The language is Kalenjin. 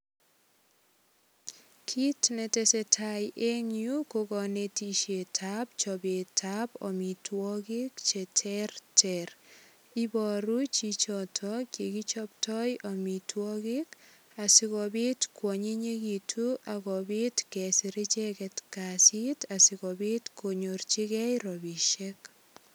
Kit netesetai eng yu ko konetisietab chobetab amitwogik che terter iboru chichoto yekichoptoi amitwogik asigopit kwanyinyegitu ak kopit kesir icheget kasit asigopit konyorchigei rapisiek.